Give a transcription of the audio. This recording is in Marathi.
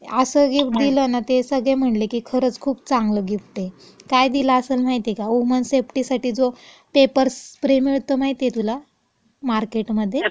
असं गिफ्ट दिलं ना, ते सगळे म्हंटले, खरचं खुप चांगलं गिफ्ट ये. काय दिलं असेल माहिती ये का? वुमन सेफ्टीसाठी जो पेपर स्प्रे मिळतो माहिती तुला मार्केटमध्ये?